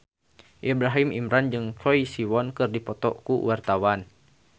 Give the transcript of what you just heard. Ibrahim Imran jeung Choi Siwon keur dipoto ku wartawan